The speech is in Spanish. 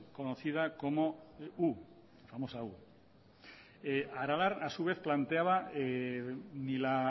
conocida como u la famosa u aralar a su vez planteaba ni la